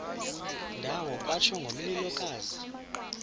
ndawo kwatsho ngomlilokazi